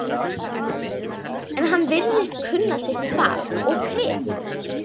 En hann virðist kunna sitt fag og kryf